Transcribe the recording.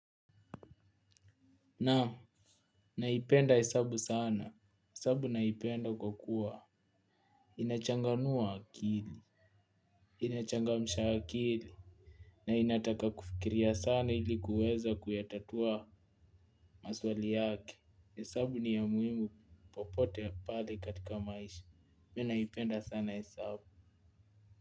Naam, naipenda hesabu sana hesabu naipenda kwa kuwa inachanganua akili. Inachangamsha akili. Na inataka kufikiria sana ili kuweza kuyatatua. Maswali yake hesabu ni ya muhimu popote pale katika maisha Me naipenda sana hesabu.